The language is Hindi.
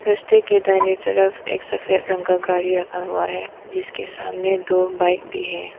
रास्ते के दाहिने तरफ एक सफेद रंग का गाड़ी रखा हुआ है जिसके सामने दो बाइक भी है।